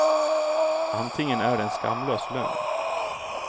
Antingen är det en skamlös lögn.